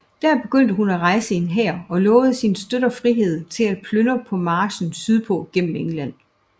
Der begyndte hun at rejse en hær og lovede sine støtter frihed til at plyndre på marchen sydpå gennem England